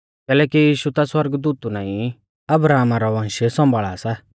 कैलैकि यीशु ता सौरगदूतु नाईं पर अब्राहम रौ वंश सौंभाल़ा सा